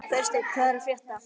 Freysteinn, hvað er að frétta?